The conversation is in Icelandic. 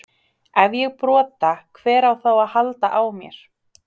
Ef ég brota, hver á þá að halda á mér?